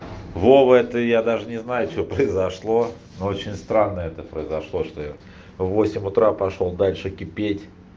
вова это я даже не знаю что произошло ну очень странно это произошло что я в восемь утра пошёл дальше кипеть